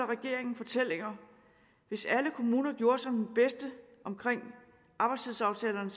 regeringen fortællinger hvis alle kommuner gjorde som den bedste omkring arbejdstidsaftalerne